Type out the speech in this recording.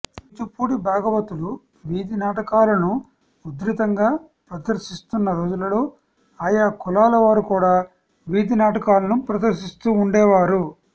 కూచిపూడి భాగవతులు వీథి నాటకాలను ఉధృతంగా ప్రదర్శిస్తున్న రోజులలో ఆయా కులాల వారు కూడా వీథి నాటకాలను ప్రదర్శిస్తూ వుండేవారు